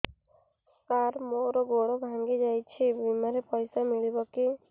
ସାର ମର ଗୋଡ ଭଙ୍ଗି ଯାଇ ଛି ବିମାରେ ପଇସା ମିଳିବ କି